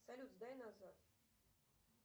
салют сдай назад